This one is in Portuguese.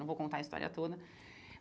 Não vou contar a história toda.